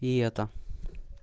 и это